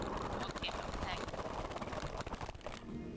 okay ma'am thanks